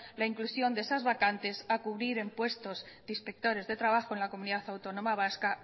la inclusión de esas vacantes a cubrir en puestos de inspectores de trabajo en la comunidad autónoma vasca